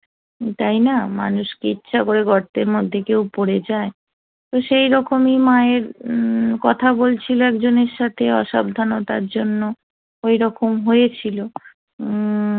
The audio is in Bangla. তাই না মানুষকে ইচ্ছা করে গর্তের মধ্যে কেউ পড়ে যায় তো সেই রকমই মায়ের কথা বলছিল একজনের সাথে অসাবধানতার জন্য ওই রকম হয়েছিল হম